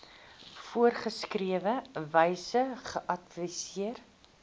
voorgeskrewe wyse geadverteer